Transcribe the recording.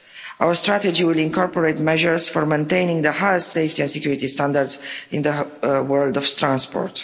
Our strategy will incorporate measures for maintaining the highest safety and security standards in the world of transport.